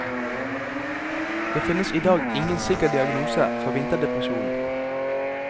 Det finnes i dag ingen sikker diagnose for vinterdepresjon.